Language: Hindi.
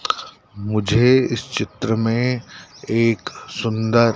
मुझे इस चित्र में एक सुंदर--